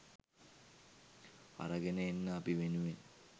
අරගෙන එන්න අපි වෙනුවෙන්